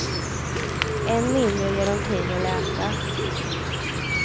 Än mindre ge dem tid att läka.